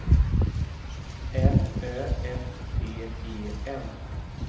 L Ö F T E N